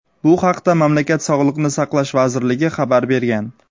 Bu haqda mamlakat Sog‘liqni saqlash vazirligi xabar bergan.